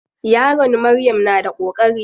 Yaron Maryam na da koƙari.